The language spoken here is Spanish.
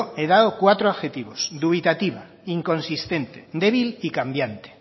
he dado cuatro adjetivos dubitativa inconsistente débil y cambiante